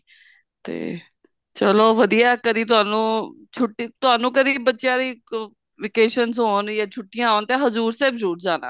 ਤੇ ਚਲੋ ਵਧੀਆ ਕਦੀ ਤੁਹਾਨੂੰ ਛੁੱਟੀ ਤੁਹਾਨੂੰ ਕਦੀ ਬੱਚਿਆਂ ਦੀ vacations ਹੋਣ ਜਾਂ ਛੁੱਟੀਆਂ ਹੋਣ ਤਾਂ ਹਜੂਰ ਸਾਹਿਬ ਜਰੂਰ ਜਾਣਾ